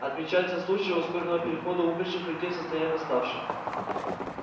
отмечаются случаи ускоренного перехода умерших людей в состояние восставших